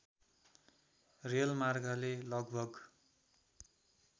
rail मार्गले लगभग